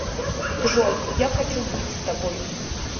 джой я хочу быть с тобой